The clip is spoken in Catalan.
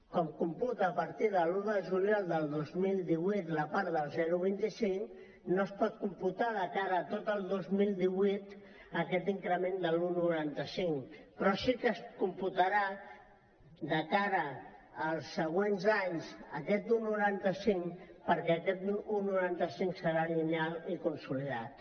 com computa a partir de l’un de juliol del dos mil divuit la part del zero coma vint cinc no es pot computar de cara a tot el dos mil divuit aquest increment de l’un coma noranta cinc però sí que es computarà de cara als següents anys aquest un coma noranta cinc perquè aquest un coma noranta cinc serà lineal i consolidat